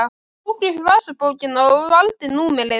Hann tók upp vasabókina og valdi númerið.